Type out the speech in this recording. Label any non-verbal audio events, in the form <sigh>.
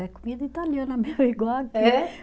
É comida italiana, <unintelligible> <laughs> igual aqui. É?